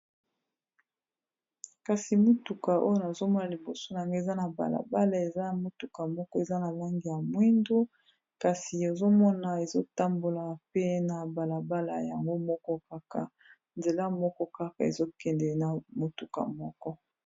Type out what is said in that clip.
Kasi motuka oyo nazomona liboso nanga eza na balabala eza ya motuka moko eza na langi ya mwindu kasi ozomona ezotambola pe na balabala yango moko kaka nzela moko kaka ezokende na motuka moko.